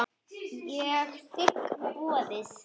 Ég þigg boðið.